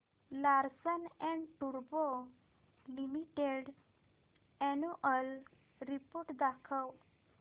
Larsen and टुर्बो limited annual report दाखव